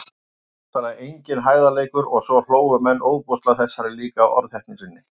Og bókstaflega enginn hægðarleikur- og svo hlógu menn ofboðslega að þessari líka orðheppni sinni.